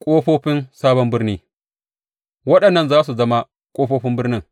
Ƙofofin sabon birni Waɗannan za su zama ƙofofin birnin.